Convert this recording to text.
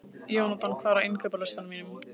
Jónatan, hvað er á innkaupalistanum mínum?